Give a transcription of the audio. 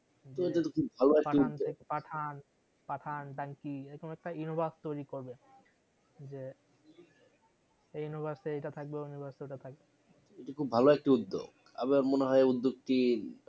পাঠান ডানকি এরম একটা universe তৈরী করবে যে এই universe এ এটা থাকবে ওই universe এ ওটা থাকবে এটা খুব ভালো একটা উদ্যোগ আমার মনে হয় উদ্যোগ টি